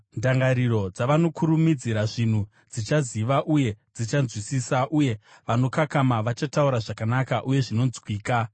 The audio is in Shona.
Ndangariro dzavanokurumidzira zvinhu dzichaziva uye dzichanzwisisa, uye vanokakama vachataura zvakanaka uye zvinonzwika.